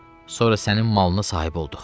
Sonra sənin malına sahib olduq.